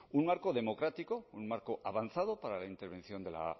un marco democrático un marco avanzado para la intervención de la